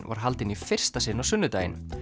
var haldinn í fyrsta sinn á sunnudaginn